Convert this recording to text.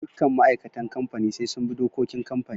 Dukkan ma'aikatan kamfani sai sun bi dokokin kamfani.